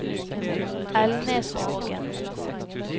Elnesvågen